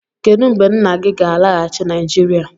Kedu mgbe nna gị ga-alaghachi Naịjirịa?